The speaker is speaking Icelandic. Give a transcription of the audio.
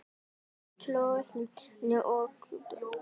Góð tónlist og létt spjall.